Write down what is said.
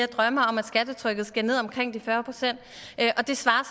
drømmer om at skattetrykket skal ned omkring de fyrre procent det svarer